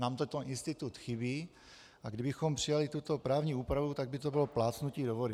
Nám tento institut chybí, a kdybychom přijali tuto právní úpravu, tak by to bylo plácnutí do vody.